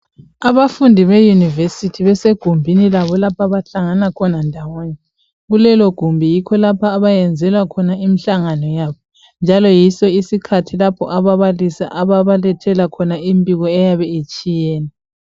Abafundi beyunivesithi besegumbini labo lapho abahlangana khona ndawonye, kulelogumbi yikho lapho abayenzela khona imihlangano yabo njalo yiso isikhathi lapho ababalisi ababalethela khona imbiko eyabe itshiyene.